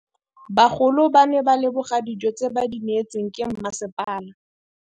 Bagolo ba ne ba leboga dijô tse ba do neêtswe ke masepala.